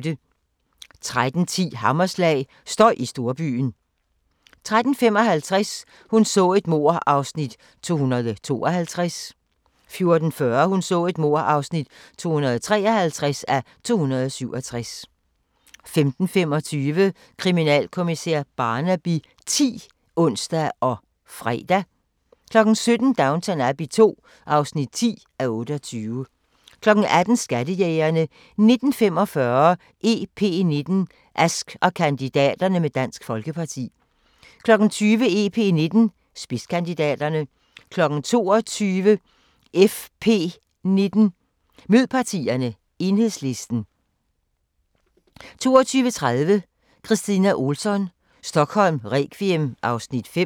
13:10: Hammerslag – støj i storbyen 13:55: Hun så et mord (252:267) 14:40: Hun så et mord (253:267) 15:25: Kriminalkommissær Barnaby X (ons og fre) 17:00: Downton Abbey II (10:28) 18:00: Skattejægerne 19:45: EP19: Ask og kandidaterne med Dansk Folkeparti 20:00: EP19: Spidskandidaterne 22:00: FV19: Mød partierne – Enhedslisten 22:30: Kristina Ohlsson: Stockholm requiem (Afs. 5)